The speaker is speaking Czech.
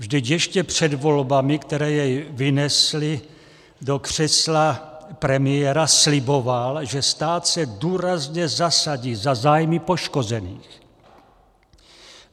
Vždyť ještě před volbami, které jej vynesly do křesla premiéra, sliboval, že stát se důrazně zasadí za zájmy poškozených.